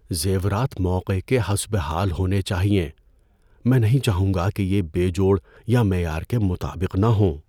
زیورات موقع کے حسب حال ہونے چاہئیں۔ میں نہیں چاہوں گا کہ یہ بے جوڑ یا معیار کے مطابق نہ ہوں۔